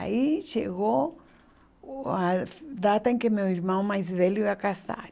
Aí chegou o a data em que meu irmão mais velho ia casar.